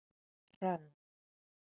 Hrönn